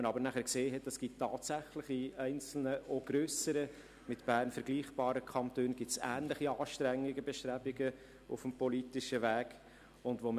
Danach hat man aber gesehen, dass es tatsächlich in einzelnen, auch grösseren, mit Bern vergleichbaren Kantonen ähnliche Bestrebungen auf dem politischen Weg gegeben hat.